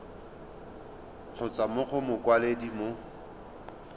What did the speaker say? kgotsa mo go mokwaledi mo